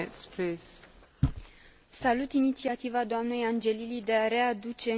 Salut inițiativa doamnei Angelilli de a readuce în discuție această temă.